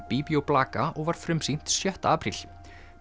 Bíbí og blaka og var frumsýnt sjötta apríl